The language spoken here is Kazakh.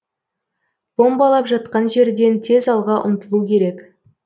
бомбалап жатқан жерден тез алға ұмтылу керек